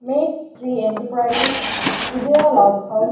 Meet Shri enterprises Vijaya log house .